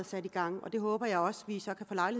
sat i gang det håber jeg også